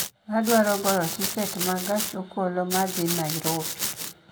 Adwaro goyo tiket ma gach okoloma dhi Nairobi